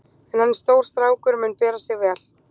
En hann er stór strákur og mun bera sig vel.